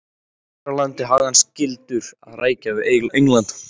Hér á landi hafði hann skyldur að rækja við England.